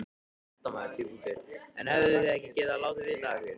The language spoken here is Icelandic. Fréttamaður: En hefðuð þið ekki getað látið vita af ykkur?